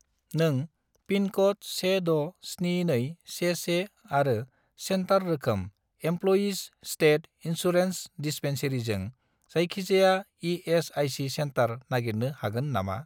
नों पिनक'ड 167211 आरो सेन्टार रोखोम इमप्ल'यिज स्टेट इन्सुरेन्स दिस्पेन्सेरिजों जायखिजाया इ.एस.आइ.सि. सेन्टार नागिरनो हागोन नामा?